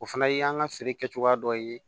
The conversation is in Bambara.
O fana y'an ka feere kɛcogoya dɔ ye